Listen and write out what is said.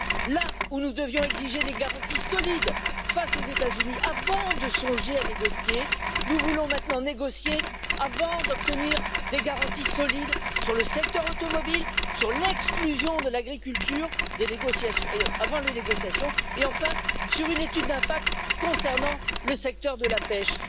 Là où nous devions exiger des garanties solides face aux États Unis avant de songer à négocier, nous voulons maintenant négocier avant d'obtenir des garanties solides sur le secteur automobile, sur l'exclusion de l'agriculture avant les négociations et enfin sur une étude d'impact concernant le secteur de la pêche.